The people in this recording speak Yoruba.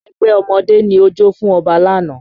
Ẹgbẹ́ ọmọdé ni ó jó fún Ọba lánàá